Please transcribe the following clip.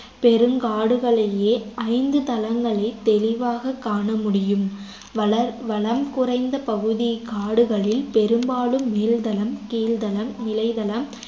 பெருங்காடுகளிலேயே ஐந்து தளங்களைத் தெளிவாகக் காண முடியும் வளர் வளம் குறைந்த பகுதிக் காடுகளில் பெரும்பாலும் மேல்தளம் கீழ்தளம் நிலைதளம்